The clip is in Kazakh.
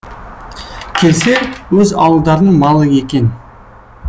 келсе өз ауылдарының малы екен